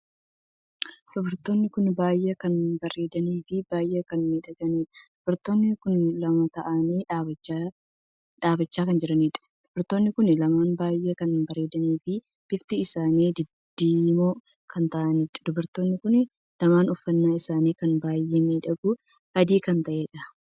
Dubartoonni kun baay'ee kan bareedanii fi baay'ee kan miidhaganiidha. dubartoonni kun lama taa'anii dhaabbachaa kan jiraniidha. Dubartoonni kun lamaan baay'ee kan bareedanii fi bifti isaanii diddiimoo kan taa'aniidha. dubartoonni kun lamaan uffannaan isaanii kan baay'ee miidhaguu adii kan taheedha